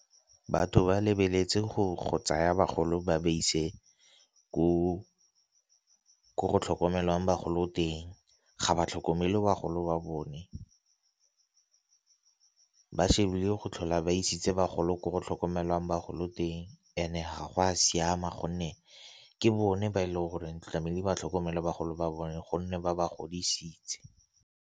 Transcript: Batho ba lebeletse go tsaya bagolo ba ba ise ko go tlhokomelwang bagolo teng ga ba tlhokomele wa golo wa bone. Ba shebile go tlhola ba isitse bagolo gore go tlhokomelwang bagolo teng and-e ga go a siama gonne ke bone ba e leng goreng tlamehile ba tlhokomele bagolo ba bone gonne ba ba godisitse.